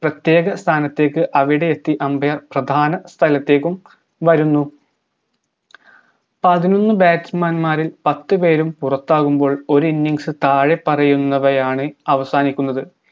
പ്രത്യേക സ്ഥാനത്തേക്ക് അവിടെ എത്തി umbair പ്രധാന സ്ഥലത്തേക്കും വരുന്നു പതിനൊന്നു batsman മാരിൽ പത്തുപേരും പുറത്താകുമ്പോൾ ഒര് innings താഴെപ്പറയുന്നവയാണ് അവസാനിക്കുന്നത്